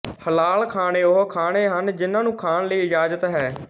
ਹਲਾਲ ਖਾਣੇ ਉਹ ਖਾਣੇ ਹਨ ਜਿਹਨਾ ਨੂੰ ਖਾਣ ਲਈ ਇਜਾਜ਼ਤ ਹੈ